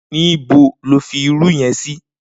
Nibó ló fi irù yèn si?